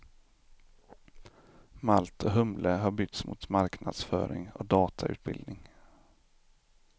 Malt och humle har bytts mot marknadsföring och datautbildning.